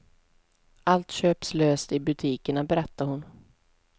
Allt köps löst i butikerna, berättar hon.